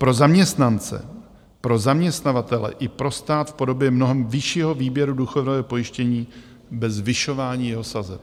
Pro zaměstnance, pro zaměstnavatele i pro stát v podobě mnohem vyššího výběru důchodového pojištění bez zvyšování jeho sazeb.